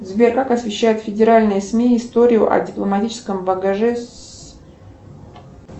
сбер как освещают федеральные сми историю о дипломатическом багаже